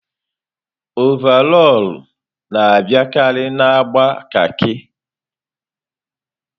ọvarọọr na-abịakarị na agba kaki.